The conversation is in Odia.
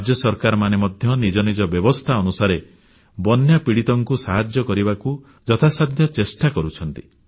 ରାଜ୍ୟ ସରକାରମାନେ ମଧ୍ୟ ନିଜ ନିଜ ବ୍ୟବସ୍ଥା ଅନୁସାରେ ବନ୍ୟାପ୍ରପୀଡ଼ିତଙ୍କୁ ସାହାଯ୍ୟ କରିବାକୁ ଯଥାସାଧ୍ୟ ଚେଷ୍ଟା କରୁଛନ୍ତି